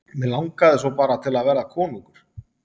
Mig langaði svo bara til að verða konungur.